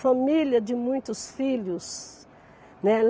Família de muitos filhos, né.